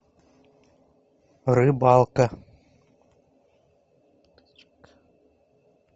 рыбалка